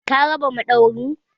Ka raba madauwarin?